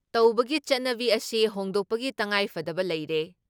ꯇꯧꯕꯒꯤ ꯆꯠꯅꯕꯒꯤ ꯑꯁꯤ ꯍꯣꯡꯗꯣꯛꯄꯒꯤ ꯇꯉꯥꯏꯐꯗꯕ ꯂꯩꯔꯦ ꯫